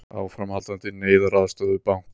Áframhaldandi neyðaraðstoð við banka